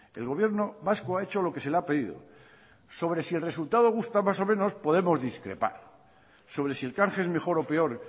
el gobierno vasco ha hecho lo que se le ha pedido sobre si el resultado gusta más o menos podemos discrepar sobre si el canje es mejor o peor